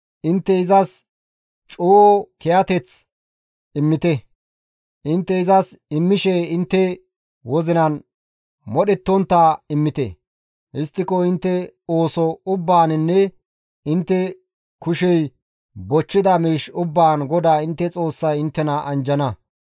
Intte izas coo kiyateth immite; intte izas immishe intte wozinan modhettontta immite; histtiko intte ooso ubbaaninne intte kushey bochchida miish ubbaan GODAA intte Xoossay inttena anjjana.